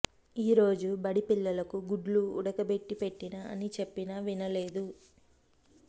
ఈ రోజు బడి పిల్లలకు గుడ్లు ఉడకబెట్టి పెట్టిన అని చెప్పినా వినలేదు